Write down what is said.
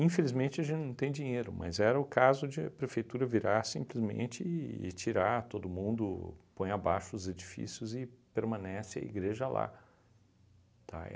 a gente não tem dinheiro, mas era o caso de a prefeitura virar simplesmente e e tirar todo mundo, põe abaixo os edifícios e permanece a igreja lá, tá?